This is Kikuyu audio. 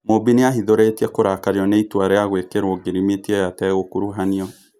Mũmbi nĩ ahithũrĩ tie kũrakario nĩ ĩ tua rĩ a gwĩ kĩ rwo ngirimiti ĩ yo ategũkuruhanio.